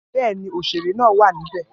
Bẹ́ẹ̀ ni òṣèré náà wà níbẹ̀